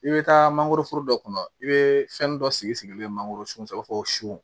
I bɛ taa mangoro foro dɔ kɔnɔ i bɛ fɛn dɔ sigi sigilen mangoro sun kɔrɔ i b'a fɔ ko su